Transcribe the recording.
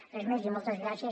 res més i moltes gràcies